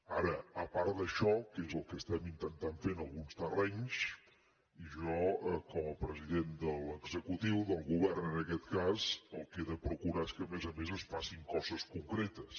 ara a part d’això que és el que intentem fer en alguns terrenys jo com a president de l’executiu del govern en aquest cas el que he de procurar és que a més a més es facin coses concretes